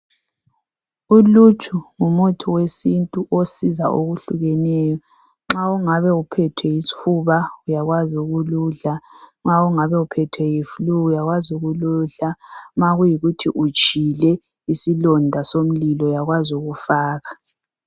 Uluju ngumuthi wesintu osiza okuhlukeneyo. Nxa ungabe uphethwe yisifuba uyakwazi ukuludla, nxa ungabe uphethwe yi"flu" uyakwazi ukuludla. Ma kuyikuthi utshile isilonda somlilo uyakwazi ukuwufaka.